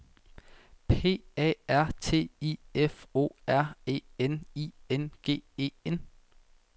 P A R T I F O R E N I N G E N